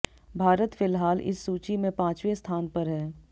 भारत फिलहाल इस सूची में पांचवें स्थान पर है